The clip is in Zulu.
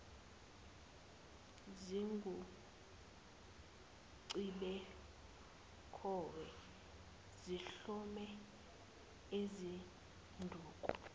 zinguqhibukhowe zihlome ngezinduku